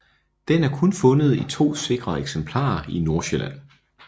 Den er kun fundet i to sikre eksemplarer i Nordsjælland